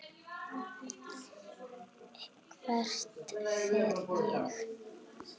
Hvert fer ég?